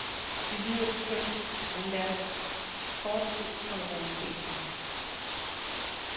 Det lyder kønt, men lad os kort se på realiteterne.